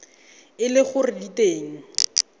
e le gore di teng